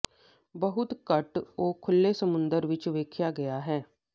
ਬਹੁਤ ਘੱਟ ਉਹ ਖੁੱਲ੍ਹੇ ਸਮੁੰਦਰ ਵਿੱਚ ਦੇਖਿਆ ਗਿਆ ਹੈ